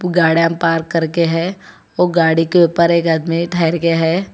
Garden पार कर के है ओ गाड़ी के ऊपर एक आदमी ठहर के है।